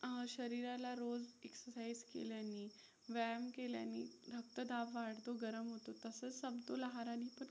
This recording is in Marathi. अ शरीराला रोज exercise केल्यानी व्यायाम केल्यानी रक्तदाब वाढतो, गरम होतं तसंच समतोल आहाराने